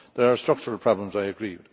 There are structural problems, I agree.